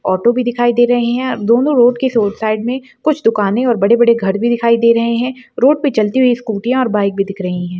आटो भी दिखाई दे रहे हैं दोनों रोड के स-साइड में कुछ दुकान और बड़े-बड़े घर भी दिखाई दे रहे हैं रोड पे चलती हुई स्कूटियाँ और बाइक भी दिख रही हैं।